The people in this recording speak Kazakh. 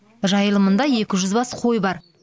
жайылымында екі жүз бас қой бар